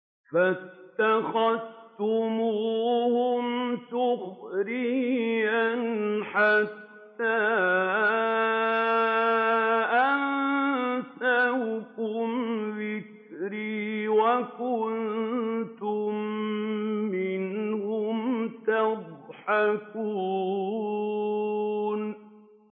فَاتَّخَذْتُمُوهُمْ سِخْرِيًّا حَتَّىٰ أَنسَوْكُمْ ذِكْرِي وَكُنتُم مِّنْهُمْ تَضْحَكُونَ